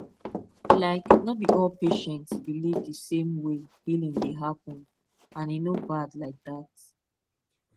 like no be all patients believe the same way healing dey happen and e no bad like that